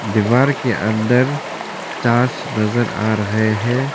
दीवार के अंदर चार्च नजर आ रहे हैं।